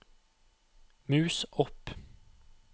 mus opp